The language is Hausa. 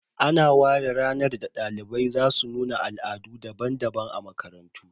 Ana ware ranar da dalibai za su nuna Al'adu daban-daban a makarantu